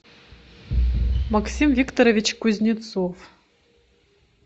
максим викторович кузнецов